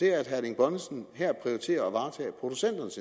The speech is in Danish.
erling bonnesen her prioriterer at varetage producenternes